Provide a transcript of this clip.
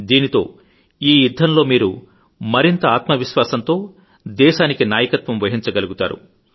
దీంతో ఈ యుద్ధంలో మీరు మరింత ఆత్మవిశ్వాసంతో దేశానికి నాయకత్వం వహించగలుగుతారు